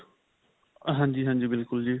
ਹਾਂਜੀ, ਹਾਂਜੀ. ਬਿਲਕੁਲ ਜੀ.